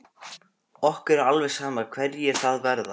Okkur er alveg sama hverjir það verða.